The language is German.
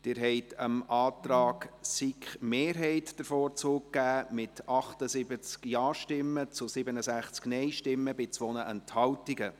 Sie haben dem Antrag von SiK-Mehrheit und Regierung den Vorzug gegeben, mit 78 Ja- gegen 67 Nein-Stimmen bei 2 Enthaltungen.